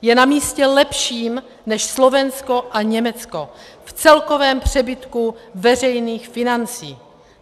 Je na místě lepším než Slovensko a Německo v celkovém přebytku veřejných financí.